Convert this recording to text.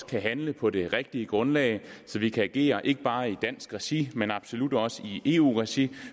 kan handle på det rigtige grundlag så vi kan agere ikke bare i dansk regi men absolut også i eu regi